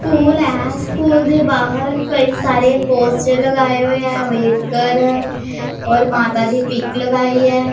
School है school दे बाहर कई सारे पोस्टर लगाए हुए हैं अंबेडकर और माता दी पिक लगाई है।